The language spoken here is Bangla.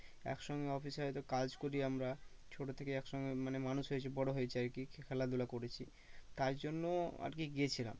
এক সঙ্গে office এ হয়তো কাজ করি আমরা। ছোটো থেকেই এক সঙ্গে মানে মানুষ হয়েছি বড়ো হয়েছি আর কি খেলাধুলা করেছি তাই জন্য আজকে গিয়েছিলাম।